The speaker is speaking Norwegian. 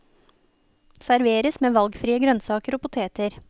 Serveres med valgfrie grønnsaker og poteter.